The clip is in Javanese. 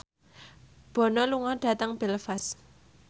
Bono lunga dhateng Belfast